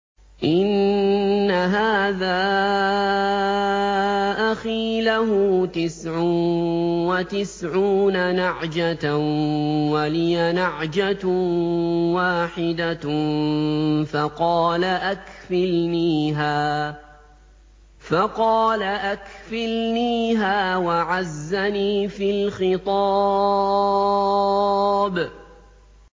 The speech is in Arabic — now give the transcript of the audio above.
إِنَّ هَٰذَا أَخِي لَهُ تِسْعٌ وَتِسْعُونَ نَعْجَةً وَلِيَ نَعْجَةٌ وَاحِدَةٌ فَقَالَ أَكْفِلْنِيهَا وَعَزَّنِي فِي الْخِطَابِ